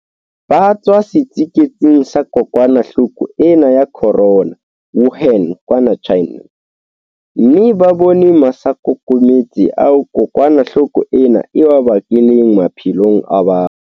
Ba tswa setsiketsing sa kokwana-hloko ena ya corona Wuhan kwana China, mme ba bone masaakokometse ao kokwana hloko ena e a bakileng maphelong a batho.